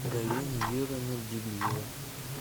галина юрьевна библиева